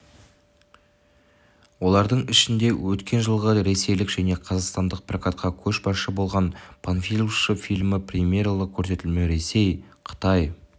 олардың ішінде өткен жылғы ресейлік және қазақстандық прокатта көшбасшы болған панфиловшы фильмі премьералық көрсетілімі ресей қытай